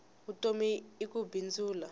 vutomi i ku bindzula